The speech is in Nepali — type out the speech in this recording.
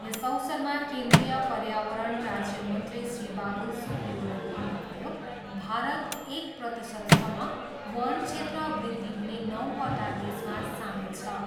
यस अवसरमा केन्द्रीय पर्यावरण राज्य मन्त्री श्री बाबुल सुप्रियोले भन्नुभयो, भारत, एक प्रतिशतसम्म वन क्षेत्र वृद्धि हुने नौवटा देशमा सामेल छ।